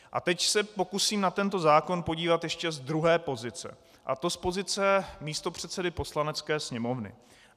A teď se pokusím na tento zákon podívat ještě z druhé pozice, a to z pozice místopředsedy Poslanecké sněmovny.